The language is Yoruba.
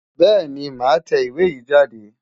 Bẹ́ẹ̀ni màá tẹ ìwé yìí jáde.